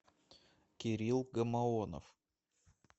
кирилл гамаонов